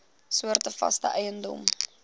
soorte vaste eiendom